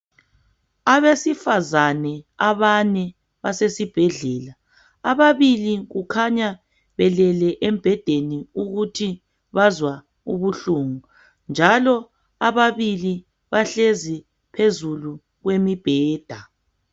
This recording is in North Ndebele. Abesifazane abane basesibhedlela. Ababibili kukhanya belele embhedeni ukuthi bazwa ubuhlungu, njalo ababili bahlezi phezulu kwemibheda.